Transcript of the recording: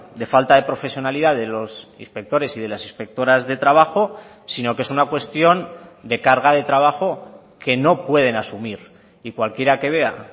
de falta de profesionalidad de los inspectores y de las inspectoras de trabajo sino que es una cuestión de carga de trabajo que no pueden asumir y cualquiera que vea